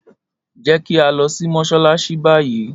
Jẹ ki a lọ si Mossalassi bayi!